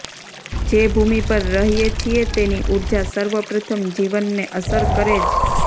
જે ભૂમિ પર રહીએ છીએ તેની ઉર્જા સર્વપ્રથમ જીવનને અસર કરેજ